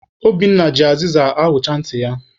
Obinna ji azịza ahụcha ntị ya.